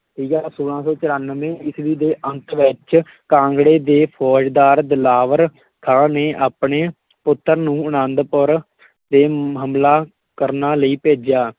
ਠੀਕ ਹੈ ਛੋਲਾਂ ਸੌ ਚੁਰਾਨਵੇਂ ਈਸਵੀ ਦੇ ਅੰਤ ਵਿੱਚ ਕਾਂਗੜੇ ਦੇ ਫੌਜ਼ਦਾਰ ਦਿਲਾਵਰ ਖਾਂ ਨੇ ਆਪਣੇ ਪੁੱਤਰ ਨੂੰ ਆਨੰਦਪੁਰ ਤੇ ਹਮਲਾ ਕਰਨਾ ਲਈ ਭੇਜਿਆ,